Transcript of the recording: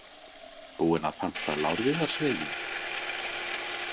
Búinn að panta lárviðarsveiginn?